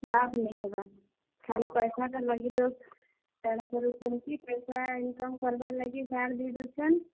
ଲାଭ୍ ନାଇ ହେବାର୍, ଖାଲି ପଏସାର୍ ଲାଗି ଲୋକ୍, କାଣା କରୁଛନ୍ କି, ପଏସା income କରବାର୍ ଲାଗି ସାର୍ ଦେଇଦଉଛନ୍।